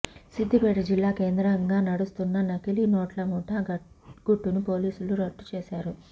సిద్ధిపేట జిల్లా కేంద్రంగా నడుస్తున్న నకిలీ నోట్ల ముఠా గుట్టును పోలీసులు రట్టు చేశారు